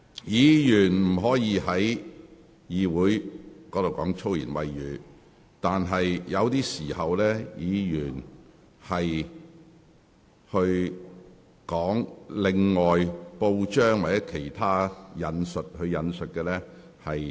議員不可在議會說粗言穢語，但可在適當時候引述報章或其他人士的用語。